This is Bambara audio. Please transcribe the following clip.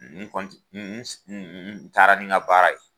N n n n taara ni ga baara ye.